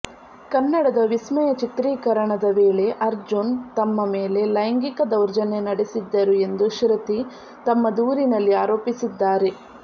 ಕನ್ನಡದ ವಿಸ್ಮಯ ಚಿತ್ರೀಕರಣದ ವೇಳೆ ಅರ್ಜುನ್ ತಮ್ಮ ಮೇಲೆ ಲೈಂಗಿಕ ದೌರ್ಜನ್ಯ ನಡೆಸಿದ್ದರು ಎಂದು ಶೃತಿ ತಮ್ಮ ದೂರಿನಲ್ಲಿ ಆರೋಪಿಸಿದ್ದಾರೆ